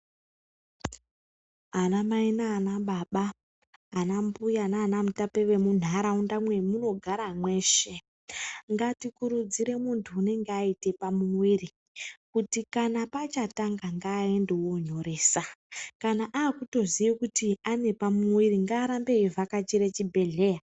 Ana mai nana baba ana mbuya nana mutape we munharaunda ya muno gara mweshe ngati kurudzirane muntu anenge aita pa muviri kuti kana pachatanga ngaendewo nyorese kana akutoziva kuti ane pa muviri ngaarambe achi vhakachira chi bhedhlera.